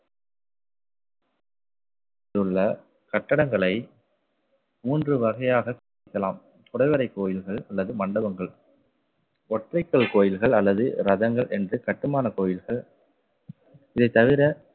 உள்ள கட்டடங்களை மூன்று வகையாக பிரிக்கலாம் குடைவரை கோயில்கள் அல்லது மண்டபங்கள் ஒற்றைக்கல் கோயில்கள் அல்லது ரதங்கள் என்று கட்டுமான கோயில்கள் இதை தவிர